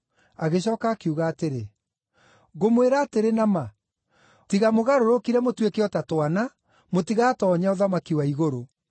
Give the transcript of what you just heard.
Agĩcooka akiuga atĩrĩ, “Ngũmwĩra atĩrĩ na ma, tiga mũgarũrũkire mũtuĩke o ta twana, mũtigatoonya ũthamaki wa igũrũ.